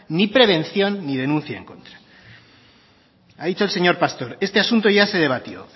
ni prevención ni denuncia en contra ha dicho el señor pastor este asunto ya se debatió